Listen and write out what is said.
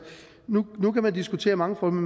nu kan man diskutere mange